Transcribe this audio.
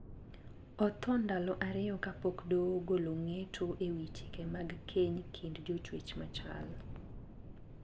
Othoo ndalo ariyo kapok doho ogolo ng`eto ewi chike mag keny kind jochwech machal.